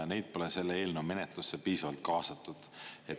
Neid pole selle eelnõu menetlusse piisavalt kaasatud.